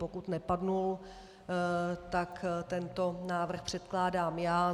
Pokud nepadl, tak tento návrh předkládám já.